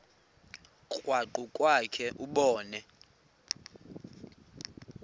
krwaqu kwakhe ubone